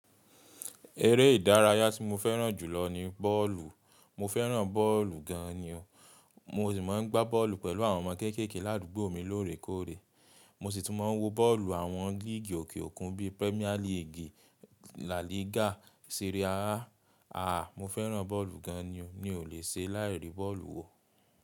Eré ìdárayá tí mo fẹ́ràn jù lọ ni bọ́ọ̀lù. Mo fẹ́ràn bọ́ọ̀lù gan ni ọ. Mo sì máa ń gbá bọ́ọ̀lù pẹ̀lú àwọn ọmọ kéékèèké l'àdúgbò mi lóòrèkóòrè. Mo sì tún máa ń wo bọ́ọ̀lù àwọn líìgì òkè òkun bí i Premier League, La Liga. Teré á, àá mo fẹ́ràn bọ́ọ̀lù gan ni o. Mi ò lè ṣe láì ríi bọ́ọ̀lù wo.